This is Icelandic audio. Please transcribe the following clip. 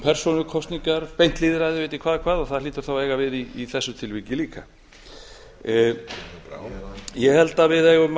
beint lýðræði ég veit ekki hvað og hvað og það hlýtur þá að eiga við í þessu tilviki líka ég held að við eigum